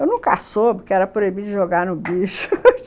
Eu nunca soube que era proibido jogar no bicho